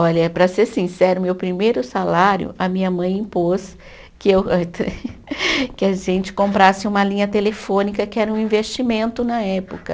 Olha, para ser sincera, o meu primeiro salário a minha mãe impôs que eu, que a gente comprasse uma linha telefônica, que era um investimento na época.